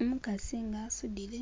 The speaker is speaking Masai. Umukasi nga asudile